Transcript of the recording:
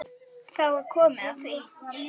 Þá er komið að því.